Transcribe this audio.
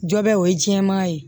Jɔ bɛ o ye jɛman ye